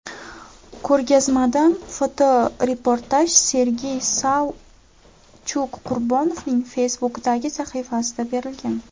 Ko‘rgazmadan fotoreportaj Sergey Savchuk-Qurbonovning Facebook’dagi sahifasida berilgan .